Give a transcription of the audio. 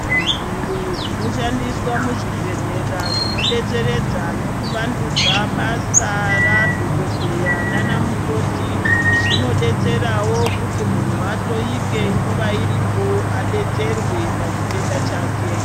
Zviro zvinoshandiswa muzvibhedhlera zvinodetseredza nekuvandudza basa radhokodheya naana mukoti zvinodetserawo kuti munhu ahloyike nguwa iripo adetserwe pachitenda chake .